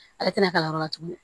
Ale tɛna ka yɔrɔ la tuguni